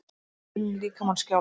Finn líkamann skjálfa.